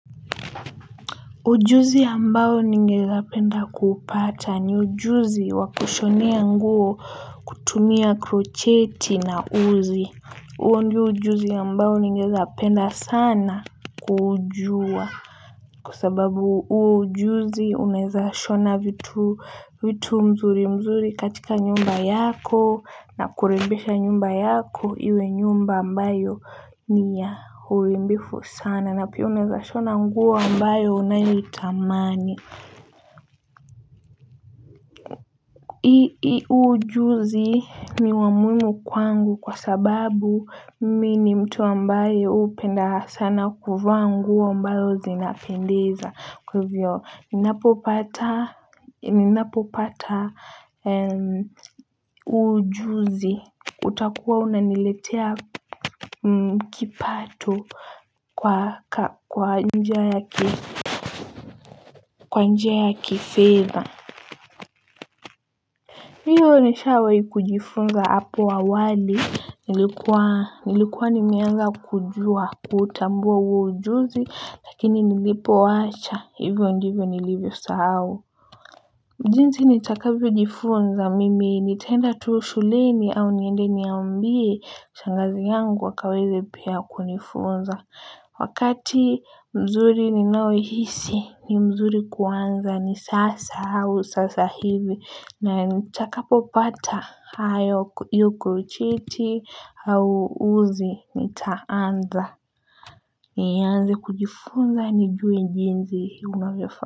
Ujuzi ambao ningeyapenda kupata ni ujuzi wa kushonea nguo kutumia krocheti na uzi. Uo ndio ujuzi ambayo ningeeza penda sana kujua. Kwa sababu uo ujuzi unaeza shona vitu mzuri mzuri katika nyumba yako na kurembesha nyumba yako iwe nyumba ambayo ni ya hurimbifu sana. Na pia unaeza shona nguo ambayo unayoitamani. Huu ujuzi ni wa muhimu kwangu kwa sababu mi ni mtu ambayo huu upenda sana kuvaa nguo ambayo zinapendeza. Kwa hivyo ninapopata huo ujuzi utakuwa unaniletea kipato kwa njia ya kifedha. Hiyo nishawai kujifunza hapo awali. Nilikuwa nimeanza kujua kutambua huo ujuzi. Lakini nilipowacha hivyo ndivyo nilivyosahau jinsi nitakavyo jifunza mimi nitaenda tuu shuleni au niende niambie shangazi yangu wakaweze pia kunifunza. Wakati mzuri ninaohisi ni mzuri kuanza ni sasa au sasa hivi na nitakapopata hio krocheti au uzi nitaanza nianze kujifunza nijue jinzi unavyofaa.